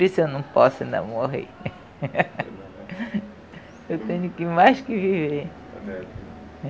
Por isso eu não posso ainda morrer. Eu tenho que mais que viver.